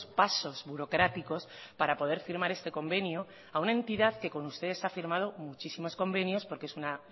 pasos burocráticos para poder firmar este convenio a una entidad que con ustedes han firmado muchísimos convenios porque es una